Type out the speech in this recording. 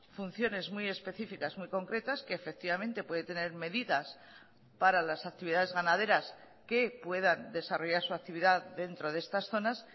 funciones muy específicas muy concretas que efectivamente puede tener medidas para las actividades ganaderas que puedan desarrollar su actividad dentro de estas zonas